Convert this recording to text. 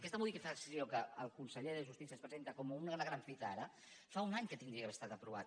aquesta modificació que el conseller de justícia ens presenta com una gran fita ara fa un any que hauria d’haver estat aprovada